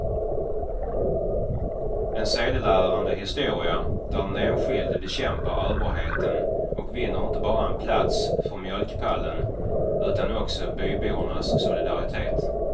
En sedelärande historia där den enskilde bekämpar överheten och vinner inte bara en plats för mjölkpallen utan också bybornas solidaritet.